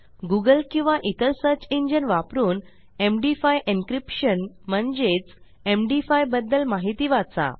Google किंवा इतर search engine वापरून एमडी5 एन्क्रिप्शन म्हणजेच एम डी 5 बद्दल माहिती वाचा